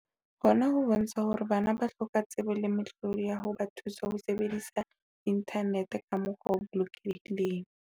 Hona ho bontsha hore bana ba hloka tsebo le mehlodi ya ho ba thusa ho sebedisa inthanete ka mokgwa o bolokelehileng.